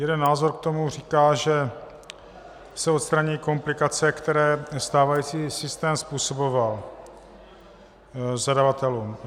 Jeden názor k tomu říká, že se odstraní komplikace, které stávající systém způsoboval zadavatelům.